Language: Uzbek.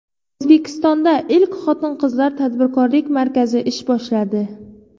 O‘zbekistonda ilk Xotin-qizlar tadbirkorlik markazi ish boshladi .